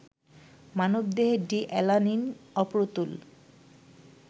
মানবদেহে D alanine অপ্রতুল